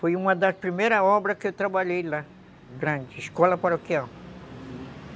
Foi uma das primeiras obras que eu trabalhei lá, grande, Escola Paroquial.